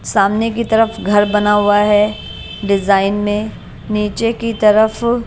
सामने की तरफ घर बना हुआ है डिजाइन मे नीचे की तरफ--